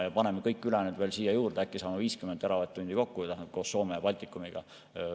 Kui paneme kõik ülejäänud siia juurde, äkki saama 50 teravatt-tundi kokku – see on siis koos Soome ja Baltikum.